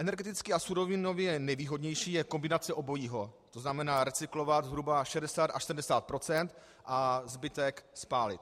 Energeticky a surovinově nejvýhodnější je kombinace obojího, to znamená recyklovat zhruba 60 až 70 % a zbytek spálit.